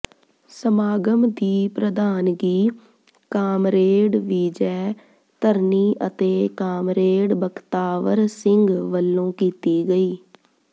ਸਮਾਗਮ ਦੀ ਪ੍ਰਧਾਨਗੀ ਕਾਮਰੇਡ ਵਿਜੈ ਧਰਨੀ ਅਤੇ ਕਾਮਰੇਡ ਬਖਤਾਵਰ ਸਿੰਘ ਵੱਲੋਂ ਕੀਤੀ ਗਈ